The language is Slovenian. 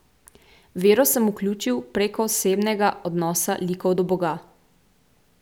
Vero sem vključil prek osebnega odnosa likov do boga.